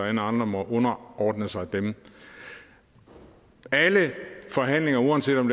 alle andre må underordne sig dem alle forhandlinger uanset om